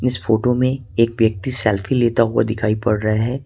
इस फोटो में एक व्यक्ति सेल्फी लेता हुआ दिखाई पड़ रहा हैं।